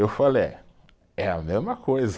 Eu falei é, é a mesma coisa.